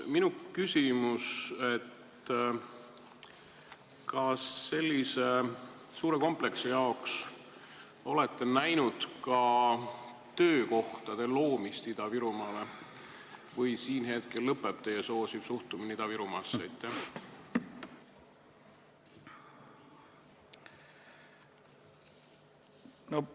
Minu küsimus: kas näete ka töökohtade loomist Ida-Virumaale sellise suure kompleksi jaoks või siinkohal lõpeb teie soosiv suhtumine Ida-Virumaasse?